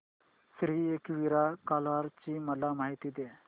श्री एकविरा कार्ला ची मला माहिती दे